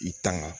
I tanga